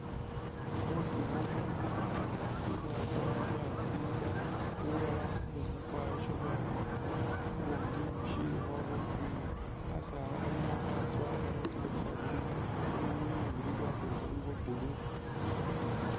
Musiiru mulimu bunyaasi bwatsowa bwasiimba, bulala kumuumu kwayosha bwayomakakho, bubundi bushilikho bwa green khasaala khalimo khatsoowa khalikho kamaaru ka green bunywinywi bu bili bwa kwilekho buli bwa blue.